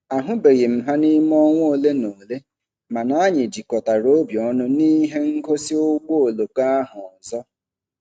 A hụbeghị m ha n'ime ọnwa ole na ole ma anyị jikọtara obi ọnụ n'ihe ngosi ụgbọ oloko ahụ ọzọ.